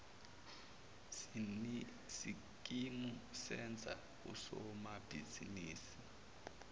sikimu senza usomabhizinisi